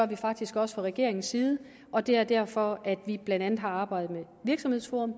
vi faktisk også fra regeringens side og det er derfor at vi blandt andet har arbejdet med virksomhedsforum